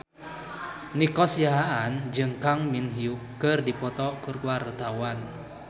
Nico Siahaan jeung Kang Min Hyuk keur dipoto ku wartawan